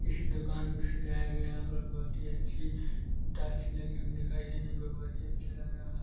इस दुकान को सजाया गया बहुत ही अच्छी टॉर्च लगी हुई दिखाई दे रही है बहुत ही अच्छा लग रहा --